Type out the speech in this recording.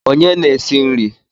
Onye na-esi nri?